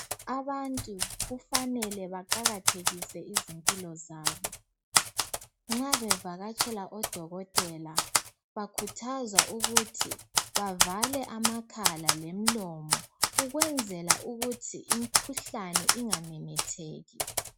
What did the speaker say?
abantu kufanele baqakathekise izimpilo zabo nxa bevakatshela o dokotela bakhuthazwa ukuthi bavale amakhala lemilomo ukwenzela kuthi imkhuhlane ingamemetheki